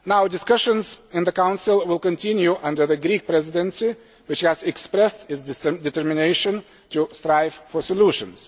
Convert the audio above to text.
Discussions in the Council will now continue under the Greek Presidency, which has expressed its determination to strive for solutions.